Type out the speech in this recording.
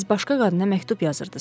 Siz başqa qadına məktub yazırdınız.